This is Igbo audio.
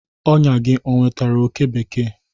Ọnyà gị ọ nwetara oke bekee?